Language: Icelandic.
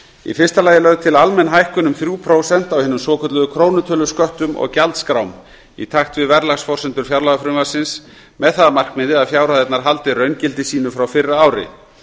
í fyrsta lagi eru lögð til almenn hækkun um þrjú prósent á hinum svokölluðu krónutölusköttum og gjaldskrám í takt við verðlagsforsendur fjárlagafrumvarpsins með það að markmiði að fjárhæðirnar haldi raungildi sínu frá fyrra ári